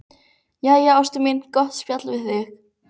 Jæja, ástin mín, gott að spjalla við þig.